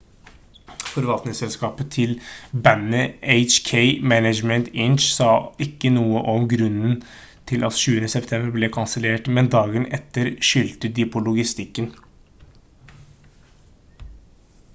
forvaltningsselskapet til bandet hk management inc sa ikke noe om grunnen til at 20. september ble kansellert men dagen etter skyldte de på logistikken